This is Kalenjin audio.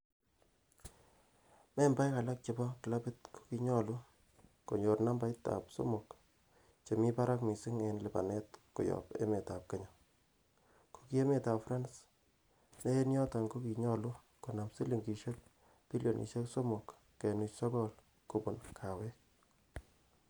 Membaek alak chebo clabit kokinyolu, konyor nambait ab somok che mi barak missing en lipanet koyob emetab Kenya ,ko ki emetab France, ne en yoton ko kinyolu konam silingisiek bilioniosiek somok kenuch sogol kobun kawek.